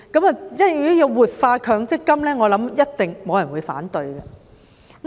如果要活化強積金，我相信一定沒有人會反對。